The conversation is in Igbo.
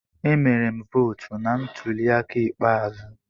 Emere m vootu na ntuli aka ikpeazụ.